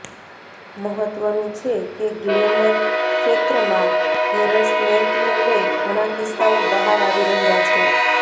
મહત્વનું છે કે ગ્લેમર ક્ષેત્રમાં હેરસમેન્ટને લઇ ઘણા કિસ્સાઓ બહાર આવી રહ્યા છે